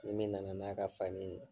Ni min nana n'a ka fani ye